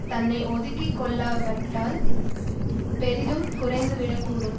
தன்னை ஒதுக்கி கொள்ளாவட்டால் பெரிதும் குறைந்துவிடக் கூடும்